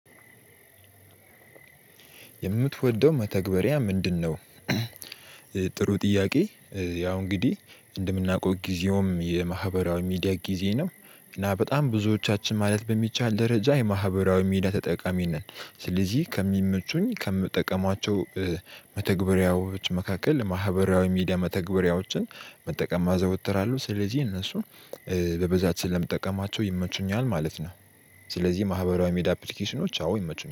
የምትወደው መተግበሪያ ምንድነው? ጥሩ ጥያቄ። ያው እንግዲህ እንደምናውቀው ጊዜውም የማህበራዊ ሚዲያ ጊዜ ነው እና በጣም ብዙዎቻችን ማለት በሚቻል ደረጃ የማህበራዊ ሚዲያ ተጠቃሚ ነን። ስለዚህ ከሚመቹኝ ከምጠቀማቸው መተግበሪያዎች መካከል ማህበራዊ ሚዲያ መተግበሪያዎችን መጠቀም አዘወትራለው ስለዚህ እነሱን በብዛት ስለምጠቀማቸው ይመቹኛል ማለት ነው። ስለዚህ ማህበራዊ ሚዲያ አፕሊኬሽኖች አዎ ይመቹኛል